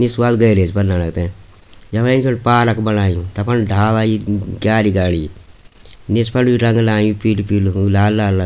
निस वाल गैरेज पर लणा तै यम्मा पार्क बणायु ताफर डाला यि क्यारी गाडी निस फर यू रंग लायु पीलू पीलू लाल लाल रंग।